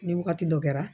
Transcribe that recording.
Ni wagati dɔ kɛra